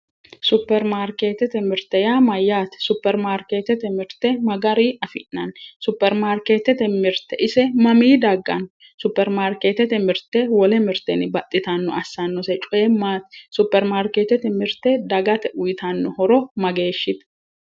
Superi maarkeetette mirte yaa mayyaate superi maarkeettete mirte ma garinni afi'nanni superi maarkeettete mirte ise mamii dagganno superi markeettete mirte wole mirtenni baxxitanno assannose coyi maati superi maarkeettete mirte dagate uyitanno horo mageeshshite.